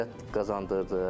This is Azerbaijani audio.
Ünsiyyət qazandırdı.